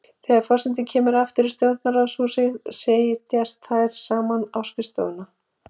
Þegar forseti kemur aftur í Stjórnarráðshúsið setjast þær saman á skrifstofuna.